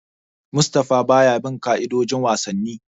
Mustapha baya bin ka'idojin wasanni.